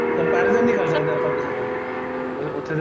comparison ਨੀਂ ਕਰ ਸਕਦੇ ਆਪਾਂ ਕਿਸੇ ਦਾ ਉੱਥੇ ਦੇ